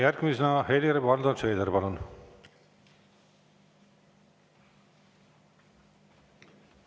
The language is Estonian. Järgmisena Helir-Valdor Seeder, palun!